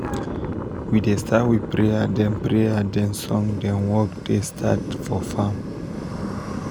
we da start with prayer then prayer then song then work da start for farm